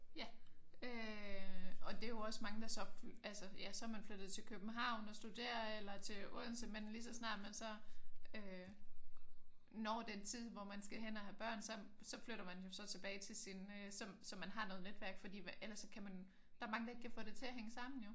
Ja øh og det er jo også mange der så ja så er man flyttet til København og studerer eller til Odense. Men lige så snart man så når den tid hvor man skal hen og have børn så så flytter man jo så tilbage til sin så så man har noget netværk. Fordi ellers så kan man der er jo mange der ikke kan få det til at hænge sammen jo